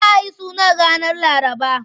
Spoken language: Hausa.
Za a yi suna ranar Laraba.